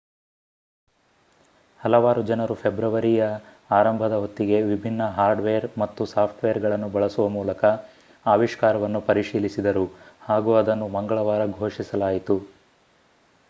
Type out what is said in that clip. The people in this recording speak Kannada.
ಹಲವಾರು ಜನರು ಫೆಬ್ರವರಿಯ ಆರಂಭದ ಹೊತ್ತಿಗೆ ವಿಭಿನ್ನ ಹಾರ್ಡ್ ವೇರ್ ಮತ್ತು ಸಾಫ್ಟ್ ವೇರ್ ಗಳನ್ನು ಬಳಸುವ ಮೂಲಕ ಆವಿಷ್ಕಾರವನ್ನು ಪರಿಶೀಲಿಸಿದರು ಹಾಗೂ ಅದನ್ನು ಮಂಗಳವಾರ ಘೋಷಿಸಲಾಯಿತು